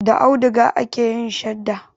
Da auduga ake yin shadda.